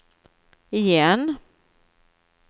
igen